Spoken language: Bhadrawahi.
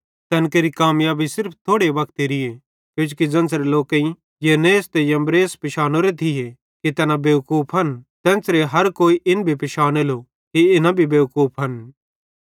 तैन केरि कामयाबी सिर्फ थोड़े वक्तेरीए किजोकि ज़ेन्च़रे लोकेईं यन्नेस ते यम्ब्रेस पिशानोरे थिये कि तैना बेवकूफन तेन्च़रे हर कोई इन भी पिशानेलो कि इना भी बेवकूफन